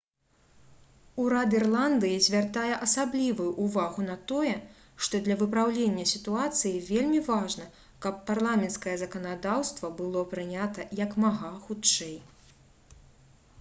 урад ірландыі звяртае асаблівую ўвагу на тое што для выпраўлення сітуацыі вельмі важна каб парламенцкае заканадаўства было прынята як мага хутчэй